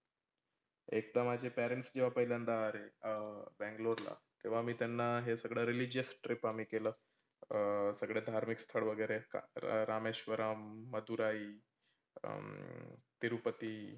एकदा माझे parents जेवा पहिल्यांदा आले अह बैंगलोरला तेव्हा मी त्यांना हे सगळ religion trip आम्ही केलं. अं सगळ्या धार्मीक स्थळ वगैरे आहेत रामेश्वरम, मधुराई, अं तिरूपती